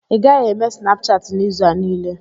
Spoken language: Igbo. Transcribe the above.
ị gaghị eme Snapchatị n'izu a niile